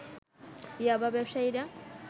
ইয়াবা ব্যবসায়ীরা